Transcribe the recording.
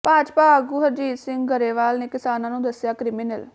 ਭਾਜਪਾ ਆਗੂ ਹਰਜੀਤ ਸਿੰਘ ਗਰੇਵਾਲ ਨੇ ਕਿਸਾਨਾਂ ਨੂੰ ਦੱਸਿਆ ਕ੍ਰਿਮੀਨਲ